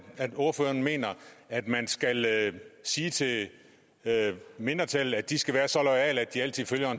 ordføreren mener at man skal sige til mindretallet at de skal være så loyale at de altid følger